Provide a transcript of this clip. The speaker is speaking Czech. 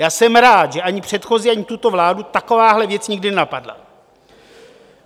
Já jsem rád, že ani předchozí, ani tuto vládu takováhle věc nikdy nenapadla.